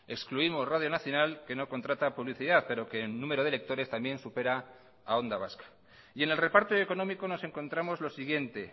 excluimos radio nacional que no contrata publicidad pero que en número de lectores también supera a onda vasca y en el reparto económico nos encontramos lo siguiente